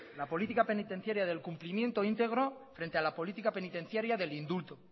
la política penitenciaria del cumplimiento íntegro frente a la política penitenciaria del indulto